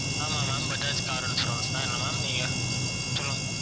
ஆமா ma'am Bajaj car insurance தான். என்ன ma'am நீங்க சொல்லுங்க ma'am